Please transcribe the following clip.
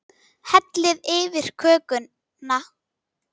Hellið yfir kökuna.